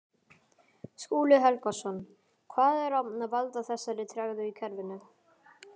Skúli Helgason: Hvað er að valda þessari tregðu í kerfinu?